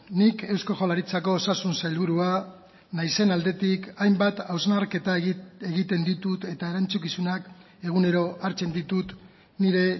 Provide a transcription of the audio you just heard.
nik eusko jaurlaritzako osasun sailburua naizen aldetik hainbat hausnarketa egiten ditut eta erantzukizunak egunero hartzen ditut nire